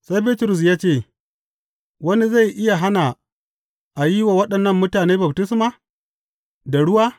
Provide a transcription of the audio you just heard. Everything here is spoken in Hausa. Sai Bitrus ya ce, Wani zai iya hana a yi wa waɗannan mutane baftisma da ruwa?